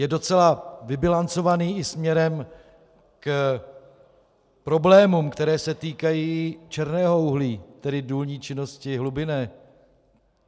Je docela vybilancovaný i směrem k problémům, které se týkají černého uhlí, tedy důlní činnosti hlubinné.